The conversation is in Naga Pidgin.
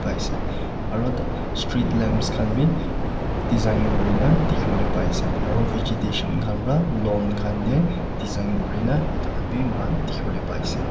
Asey aro street lamps khan bhi design kurina dekhiwole pai asey aro vegetation khan pra khan tey design kurina etu khan bhi moikhan dekhiwole pai asey.